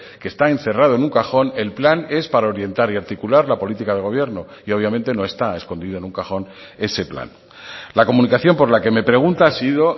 qué está encerrado en un cajón el plan es para orientar y articular la política del gobierno y obviamente no está escondido en un cajón ese plan la comunicación por la que me pregunta ha sido